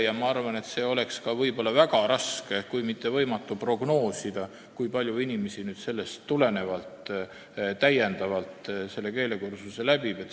Ja ma arvan, et oleks väga raske kui mitte võimatu prognoosida, kui palju on inimesi, kes sellest muudatusest tulenevalt keelekursuse läbivad.